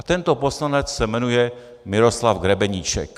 A tento poslanec se jmenuje Miroslav Grebeníček.